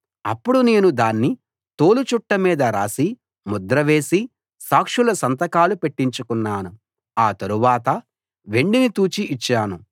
అప్పుడు నేను దాన్ని తోలు చుట్ట మీద రాసి ముద్ర వేసి సాక్షుల సంతకాలు పెట్టించుకున్నాను ఆ తరువాత వెండిని తూచి ఇచ్చాను